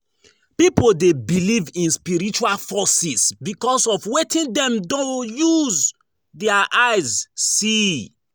Pipo de believe in spiritual forces because of wetin dem do use their eyes see